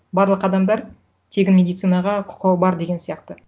барлық адамдар тегін медицинаға құқығы бар деген сияқты